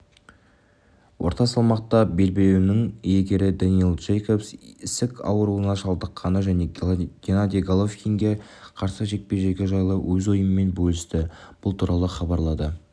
орта салмақта белбеуінің иегері дэнниэл джейкобс ісік ауруына шалдыққаны және геннадий головкинге қарсы жекпе-жегі жайлы өз ойымен бөлісті бұл туралы хабарлады